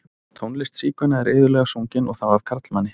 Tónlist sígauna er iðulega sungin, og þá af karlmanni.